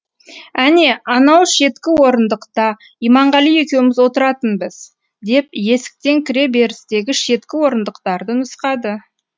әне анау шеткі орындықта иманғали екеуміз отыратынбыз деп есіктен кіре берістегі шеткі орындықтарды нұсқады